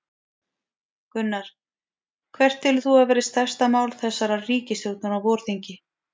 Gunnar: Hvert telur þú að verði stærsta mál þessarar ríkisstjórnar á vorþingi?